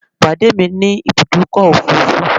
Pàdé mi ní Ibùdọ́kọ̀ òfurufú